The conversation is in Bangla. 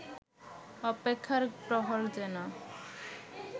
অপেক্ষার প্রহর যেন